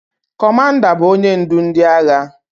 Kọmanda bụ onye ndu ndị agha